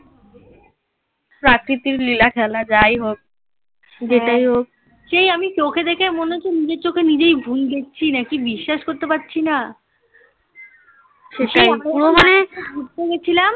প্রাকৃতিক লীলা খেলা যাই হোক হ্যাঁ যেটাই হোক সেই আমি চোখে দেখে মনে হচ্ছে নিজের চোখে নিজেই ভুল দেখছি নাকি বিশ্বাস করতে পারছি না শেষে ঘুরতে গেছিলাম